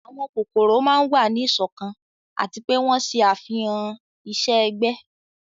àwọn kókórò máa n wa ni iṣọkan ati pe wọn ṣe afihan iṣẹ-ẹgbẹ